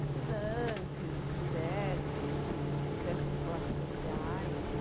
Estudantes diversos, de diversas classes sociais.